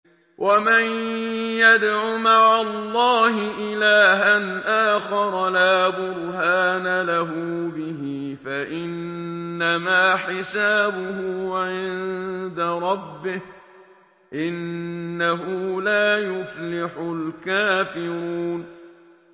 وَمَن يَدْعُ مَعَ اللَّهِ إِلَٰهًا آخَرَ لَا بُرْهَانَ لَهُ بِهِ فَإِنَّمَا حِسَابُهُ عِندَ رَبِّهِ ۚ إِنَّهُ لَا يُفْلِحُ الْكَافِرُونَ